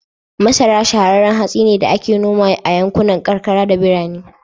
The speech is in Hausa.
Masara shahararran hatsi ne da ake nomawa a yankunan karkara da birane.